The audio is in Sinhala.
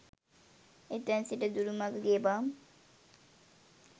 එතැන් සිට දුරු මඟ ගෙවා